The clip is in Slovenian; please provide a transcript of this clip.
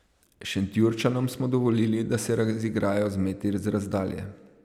Šentjurčanom smo dovolili, da se razigrajo z meti z razdalje.